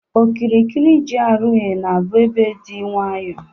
Okirikiri GRA na-abụ ebe dị nwayọ